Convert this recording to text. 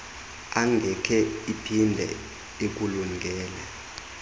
angeke iphinde ikulungele